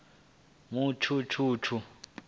mutshutshu